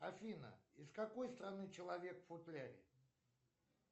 афина из какой страны человек в футляре